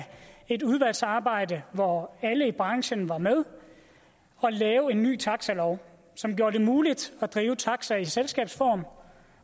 et udvalgsarbejde hvor alle i branchen var med at lave en ny taxalov som gjorde det muligt at drive taxa i selskabsform